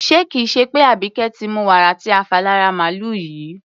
Ṣé kì í ṣe pé Àbíkẹ́ ti mu wàrà tí a fà lára màlùú yìí?